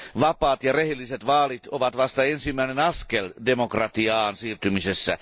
Vapaat ja rehelliset vaalit ovat vasta ensimmäinen askel demokratiaan siirtymisessä.